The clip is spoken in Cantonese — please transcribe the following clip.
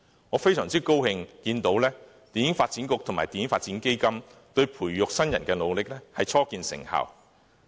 我非常高興看到香港電影發展局及電影發展基金對於培育新人的努力初見成效。